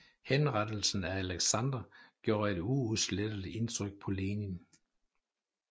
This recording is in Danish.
Henrettelsen af Aleksandr gjorde et uudsletteligt indtryk på Lenin